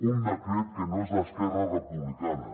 un decret que no és d’esquerra republicana